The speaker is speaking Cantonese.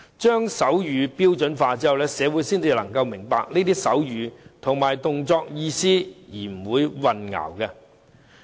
將手語標準化後，社會才能明白手語和動作的意思而不會混淆。